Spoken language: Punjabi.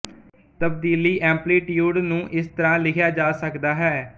ਤਬਦੀਲੀ ਐਂਪਲੀਟਿਊਡ ਨੂੰ ਇਾਸਤਰਾਂ ਲਿਖਿਆ ਜਾ ਸਕਦਾ ਹੈ